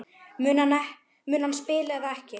Mun hann spila eða ekki?